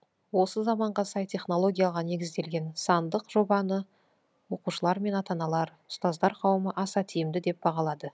осы заманға сай технологияға негізделген сандық жобаны оқушылар мен ата аналар ұстаздар қауымы аса тиімді деп бағалады